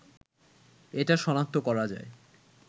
এটা শনাক্ত করা যায়